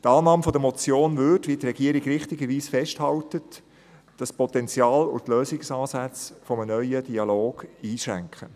Die Annahme der Motion würde, wie die Regierung richtigerweise festhält, das Potenzial und die Lösungsansätze eines neuen Dialogs einschränken.